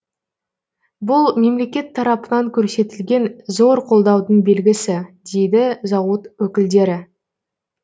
бұл мемлекет тарапынан көрсетілген зор қолдаудың белгісі дейді зауыт өкілдері